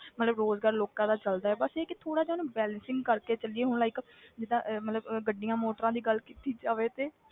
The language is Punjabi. ਮਤਲਬ ਰੋਜ਼ਗਾਰ ਲੋਕਾਂ ਦਾ ਚੱਲਦਾ ਹੈ, ਬਸ ਇਹ ਹੈ ਕਿ ਥੋੜ੍ਹਾ ਜਿਹਾ ਉਹਨੂੰ balancing ਕਰਕੇ ਚੱਲੀਏ ਹੁਣ like ਜਿੱਦਾਂ ਅਹ ਮਤਲਬ ਅਹ ਗੱਡੀਆਂ ਮੋਟਰਾਂ ਦੀ ਗੱਲ ਕੀਤੀ ਜਾਵੇ ਤੇ